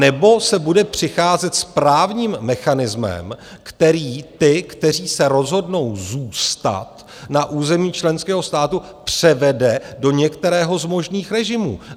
Anebo se bude přicházet s právním mechanismem, který ty, kteří se rozhodnou zůstat na území členského státu, převede do některého z možných režimů.